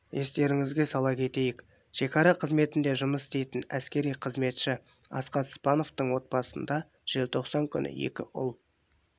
естеріңізге сала кетейік шекара қызметінде жұмыс істейтін әскери қызметші асхат спановтың отбасында желтоқсан күні екі ұл